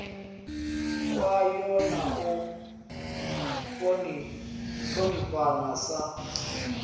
kwayo na u ṱhonifhana sa